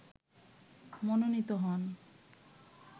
মনোনীত হন